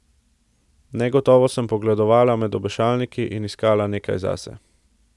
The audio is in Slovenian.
Negotovo sem pogledovala med obešalniki in iskala nekaj zase.